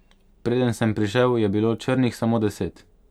Preden sem prišel, je bilo črnih samo deset.